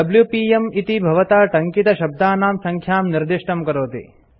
WPM - इति भवता टङ्कितशब्दानां सङ्ख्यां निर्दिष्टं करोति